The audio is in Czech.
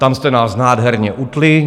Tam jste nás nádherně utnuli.